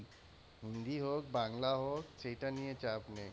হিন্দি হোক বাংলা হোক সেইটা নিয়ে চাপ নেই।